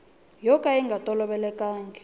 yo ka ya nga tolovelekanga